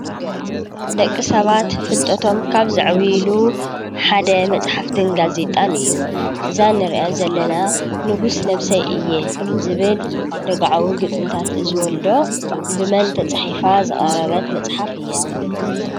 ደቂ ሰባት ፍልጠቶም ካብ ዘዕብይሉ ሓደ መፅሓፍትን ጋዜጣን እዩ። እዛ እንሪአ ዘለና ንጉስ ነብሰይ እየ ዝብል ደግዓዊ ግጥምታት ዝብል ዶ ብመን ተፃሒፋ ዝቀረበት መፅሓፍ እያ?